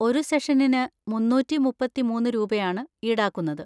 ഒരു സെഷനിന് മുന്നൂറ്റി മുപ്പത്തി മൂന്ന് രൂപയാണ് ഈടാക്കുന്നത്.